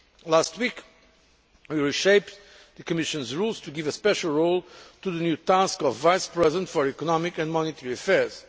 Last week we reshaped the Commission's rules to give a special role to the new task of Vice President for Economic and Monetary Affairs.